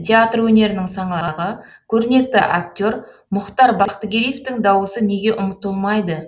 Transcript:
театр өнерінің саңлағы көрнекті актер мұхтар бақтыгереевтің дауысы неге ұмытылмайды